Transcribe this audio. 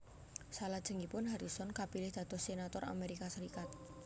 Salajengipun Harrison kapilih dados senator Amerika Serikat